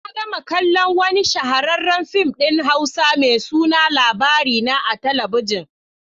Na gama kallon wani shahararren fim din Hausa mai suna Labarina a talabijin.